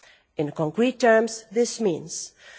In concrete terms, this means EUR